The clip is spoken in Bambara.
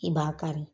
I b'a kari